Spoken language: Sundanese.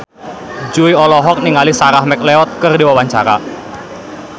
Jui olohok ningali Sarah McLeod keur diwawancara